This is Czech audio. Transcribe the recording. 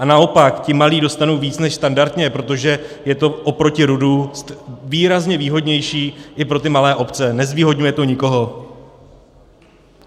A naopak ti malí dostanou víc než standardně, protože je to oproti RUD výrazně výhodnější i pro ty malé obce, nezvýhodňuje to nikoho.